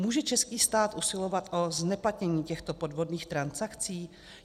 Může český stát usilovat o zneplatnění těchto podvodných transakcí?